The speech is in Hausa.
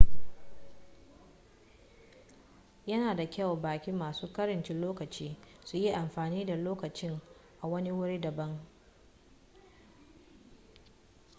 yana da kyau baƙi masu ƙarancin lokaci su yi amfani da lokacin a wani wuri daban